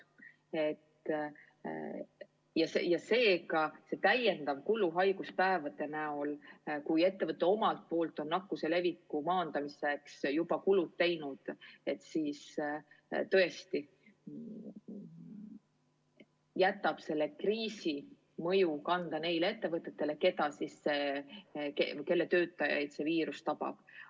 Seega see täiendav haiguspäevade kulu, kui ettevõte omalt poolt on nakkuse leviku tõkestamiseks juba kõik teinud, tõesti jätab kriisi mõju kanda neil ettevõtetel, kelle töötajaid see viirus tabab.